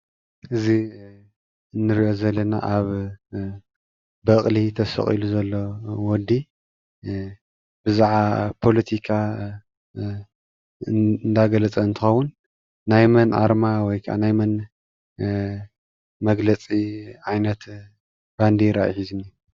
እዚ እንሪኦ ዘለና አብ በቅሊ ተሰቂሉ ዘሎ ወዲ እዛ ፖለቲካ እናገለፀ እንትኸውን ናይ መን አርማ ወይ ናይ መን መግለፂ ዓይነት ባንዴራ እዩ ሒዙ ዝንእዮ?